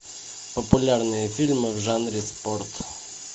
популярные фильмы в жанре спорт